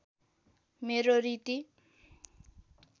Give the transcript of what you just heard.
मेरो रीति